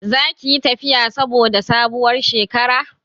Za ki yi tafiya saboda sabuwar shekara?